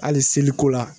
Hali seliko la